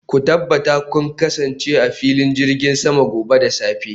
ku tabbata kun kasance a filin jirgin sama gobe da safe